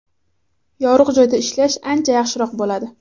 Yorug‘ joyda ishlash ancha yaxshiroq bo‘ladi.